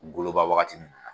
Ngoloba waagati mina.